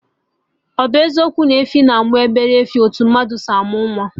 Ọ bụ eziokwu na efi na-amụ obele efi, etu mmadụ si amụ nwa